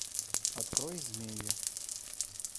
открой змеи